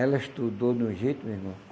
Ela estudou de um jeito meu irmão.